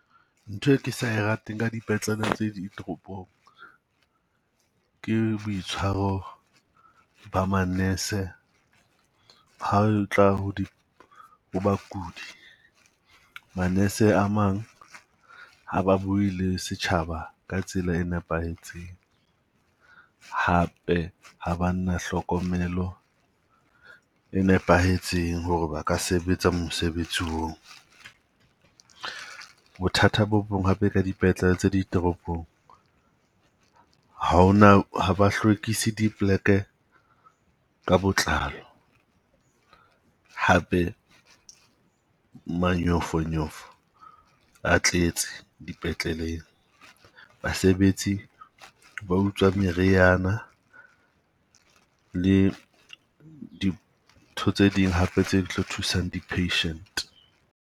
Ntho e ke sa rateng ka dipetlele tse ditoropong, ke boitshwaro ba manese ha o tla ho bakudi. Manese a mang ha ba bue le setjhaba ka tsela e nepahetseng. Hape ha ba na hlokomelo e nepahetseng ho re ba ka sebetsa mosebetsi oo. Bothata bo bong hape ka dipetlele tse ditoropong, ha ho na ha ba hlwekisi dipleke ka botlalo. Hape manyofonyofo a tletse dipetleleng, basebetsi ba utswa meriana le dintho tse ding hape tse tlo thusang di-patient.